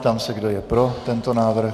Ptám se, kdo je pro tento návrh.